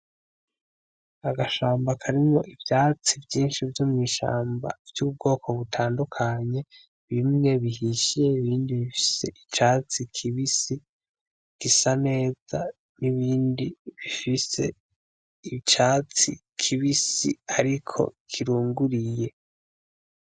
Agashamba akarimo ivyatsi vyinshi vyo mw'ishamba vy'ubwoko butandukanye bimwe bihishiye ibindi bifise icatsi kibisi gisa neza n'ibindi bifise icatsi kibisi, ariko kirunguriye.